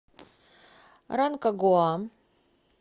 ранкагуа